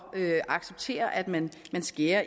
at acceptere at man skærer